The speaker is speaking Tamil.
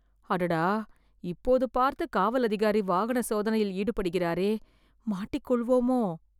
அடடா.. இப்போது பார்த்து காவல் அதிகாரி வாகன சோதனையில் ஈடுபடுகிறாரே.. மாட்டிக்கொள்வோமோ..